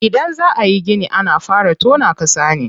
Idan za ayi gini ana fara tona ƙasa ne.